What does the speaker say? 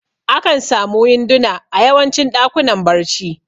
Akan samu winduna a yawancin ɗakunan barci